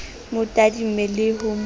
mo tadime le ho mo